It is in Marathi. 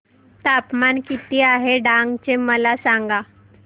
तापमान किती आहे डांग चे मला सांगा